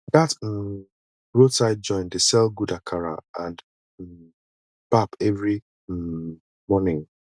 dat um roadside joint dey sell good akara and um pap every um morning